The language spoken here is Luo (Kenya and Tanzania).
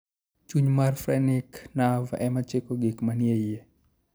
Chuny mar phrenic nerve ema chiko gik manie iye.